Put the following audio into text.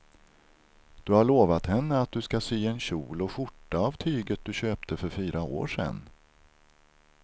Du har lovat henne att du ska sy en kjol och skjorta av tyget du köpte för fyra år sedan.